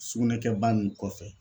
Sugunɛkɛba nin kɔfɛ